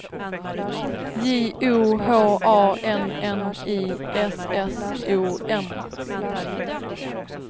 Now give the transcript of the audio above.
J O H A N N I S S O N